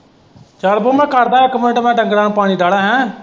ਚੱਲ ਬਓ ਮੈਂ ਕਰਦਾ ਇੱਕ ਮਿਂਟ ਮੈਂ ਡੰਗਰਾਂ ਨੂੰ ਪਾਣੀ ਠਾਹ ਲੈ ਹੈਅ।